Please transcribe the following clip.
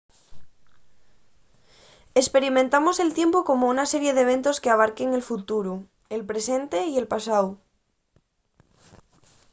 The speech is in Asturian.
esperimentamos el tiempu como una serie d'eventos qu'abarquen el futuru el presente y el pasáu